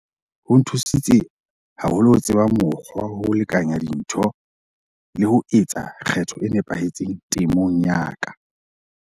Ho nthusitse haholo ho tseba mokgwa wa ho lekanya dintho le ho etsa kgetho e nepahetseng temong ya ka.